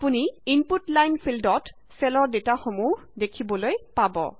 আপুনি input line ফিল্ডত চেলৰ ডেটাসমূহ দেখিবলে পাব